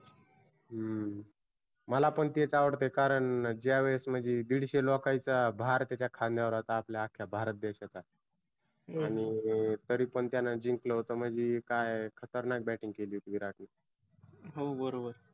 हम्म मला पण तेच आवडतय कारण ज्या वेळेस म्हणजी दिडशे लोकांचा भार त्याच्या खाद्यावर आता आपल्या आख्या भारत देशाचा. आणि तरी पण त्यानं जिंकलं होत. म्हणजी काय खतरनाक batting केली होती विरा